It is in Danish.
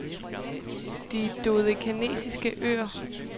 De Dodekanesiske Øer